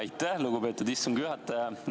Aitäh, lugupeetud istungi juhataja!